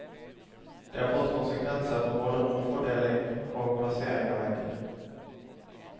Det har fått konsekvenser for både romfordeling og plassering av vegger.